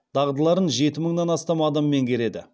дағдыларын жеті мыңнан астам адам меңгереді